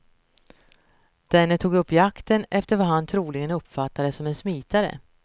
Denne tog upp jakten efter vad han troligen uppfattade som en smitare.